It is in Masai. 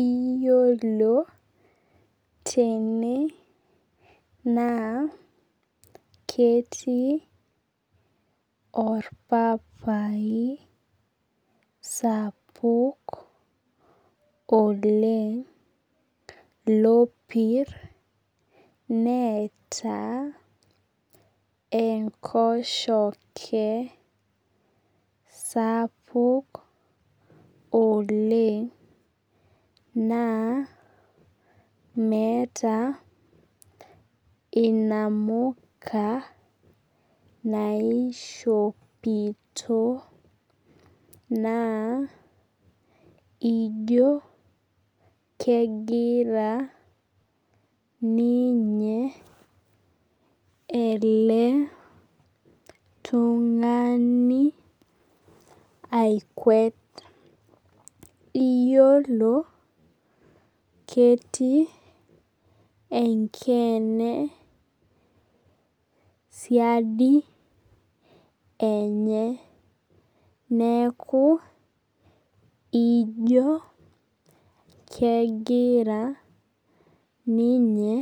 Iyiolo tene naa ketii orpapai sapuk oleng. Lopir enkoshoke sapuk oleng. Naa, meeta inamuka naishopito naa ijo kegira ninye ele tung'ani aikuet. Iyiolo ketii enkeene siadi enye. Neeku ijo kegira ninye